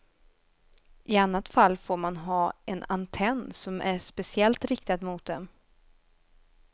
I annat fall får man ha en antenn som är speciellt riktad mot dem.